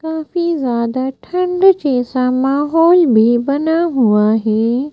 काफी ज्यादा ठंड जैसा माहौल भी बना हुआ है।